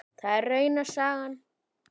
Það er rauna saga.